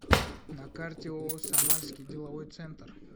на карте ооо самарский деловой центр